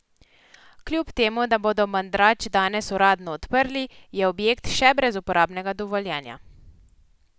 Kljub temu, da bodo mandrač danes uradno odprli, je objekt še brez uporabnega dovoljenja.